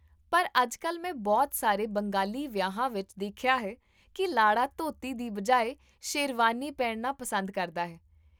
ਪਰ, ਅੱਜਕਲ, ਮੈਂ ਬਹੁਤ ਸਾਰੇ ਬੰਗਾਲੀ ਵਿਆਹਾਂ ਵਿੱਚ ਦੇਖਿਆ ਹੈ ਕਿ ਲਾੜਾ ਧੋਤੀ ਦੀ ਬਜਾਏ ਸ਼ੇਰਵਾਨੀ ਪਹਿਨਣਾ ਪਸੰਦ ਕਰਦਾ ਹੈ